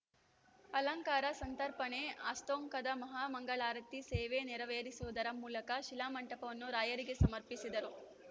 ಅಲಂಕಾರ ಸಂತರ್ಪಣೆ ಅಸ್ತೋನ್ಕನ ಮಹಾಮಂಗಳಾರತಿ ಸೇವೆ ನೆರವೇರಿಸುವುದರ ಮೂಲಕ ಶಿಲಾಮಂಟಪವನ್ನು ರಾಯರಿಗೆ ಸಮರ್ಪಿಸಿದರು